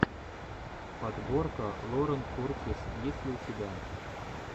подборка лорен куртис есть ли у тебя